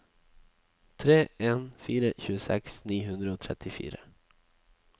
tre to en fire tjueseks ni hundre og trettifire